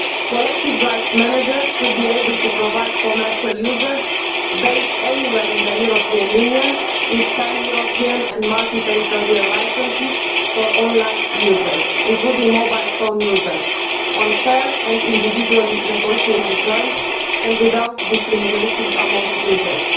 Collective rights managers should be able to provide commercial users based anywhere in the European Union with pan European and multi territorial licences for online users, including mobile phone users, on firm and individually negotiated terms and without discrimination among users.